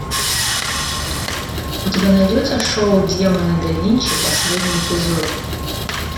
у тебя найдется шоу демоны да винчи последний эпизод